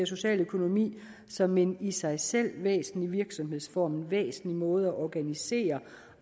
social økonomi som en i sig selv væsentlig virksomhedsform en væsentlig måde at organisere